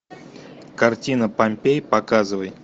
картина помпеи показывай